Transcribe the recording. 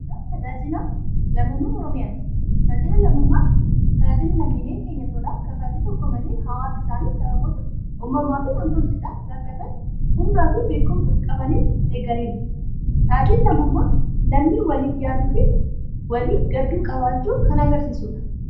Barjaa tajaajila lammummaa Oromiyaa. Tajaajilli lammummaa tajaajila lammiileen keenya tolaan kaffaltii tokko malee hawaasa isaanii sababoota uumamaa fi nam-tolcheedhaan rakkatan humnaa fi beekumsa qabaniin deeggaranidha. Tajaajilli lammummaa lammii waliif yaaduu fi walii gaddu qabaachuu kan agarsiisudha.